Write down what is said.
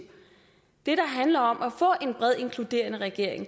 det der handler om at få en bred inkluderende regering